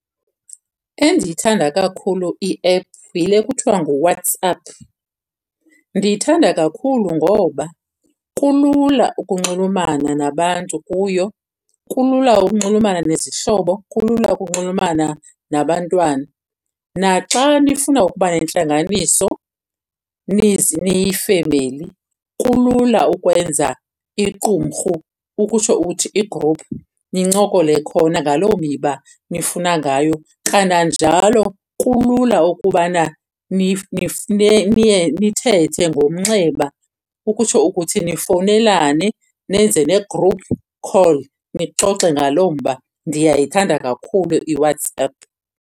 Endiyithanda kakhulu i-app yile kuthiwa nguWhatsApp. Ndiyithanda kakhulu ngoba kulula ukunxulumana nabantu kuyo, kulula ukunxulumana nezihlobo, kulula ukunxulumana nabantwana. Naxa nifuna ukuba nentlanganiso niyifemeli kulula ukwenza iqumrhu, ukutsho uthi igruphu nincokole khona ngaloo miba nifuna ngayo. Kananjalo kulula ukubana nithethe ngomnxeba, ukutsho ukuthi nifowunelane nenze ne-group call nixoxe ngaloo mba. Ndiyayithanda kakhulu iWhatsApp.